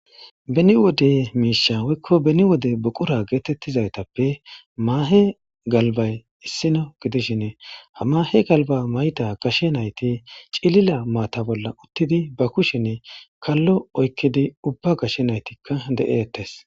beni wode miisha woykko beni wode buqura geetettizaytappe maahe galbay issino gidishin ha mahe galba mayida gashe nayti cilila maata bolla uttidi ba kushenne kallo oykkidi ubba gashe naytikka de'etes